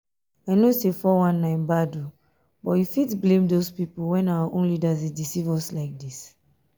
i know say 419 bad but you fit blame doz people when our own leaders dey deceive us like dis?